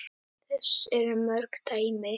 Þess eru mörg dæmi.